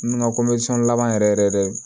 N ka laban yɛrɛ yɛrɛ dɛ